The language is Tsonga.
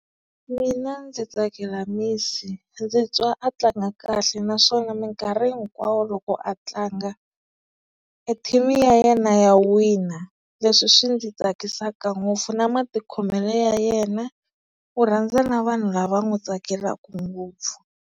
Mina ndzi tsakela Messi ndzi twa a tlanga kahle naswona minkarhi hinkwawo loko a tlanga e team ya yena ya wina, leswi swi ndzi tsakisaka ngopfu na matikhomelo ya yena u rhandza na vanhu lava n'wi tsakelaka ngopfu.